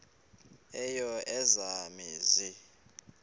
eyo eya mizi